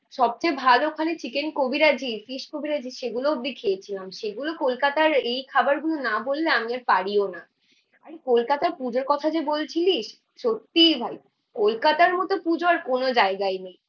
সবচেয়ে ভালো ওখানে চিকেন কবিরাজী, ফিশ কবিরাজী সেগুলো অবধি খেয়েছিলাম। সেগুলো কলকাতার এই খাবারগুলো না বললে আমি আর পারিও না। ভাই কলকাতায় পুজোর কথা যে বলছিলিস সত্যিই ভাই কলকাতার মতো পুজো আর কোনো জায়গায় নেই।